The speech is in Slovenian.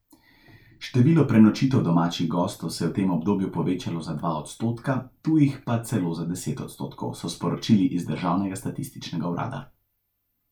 Število prenočitev domačih gostov se je v tem obdobju povečalo za dva odstotka, tujih pa celo za deset odstotkov, so sporočili iz državnega statističnega urada.